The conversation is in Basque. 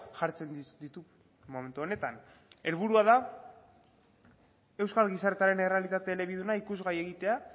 jartzen ditu momentu honetan helburua da euskal gizartearen errealitate elebiduna ikusgai egitea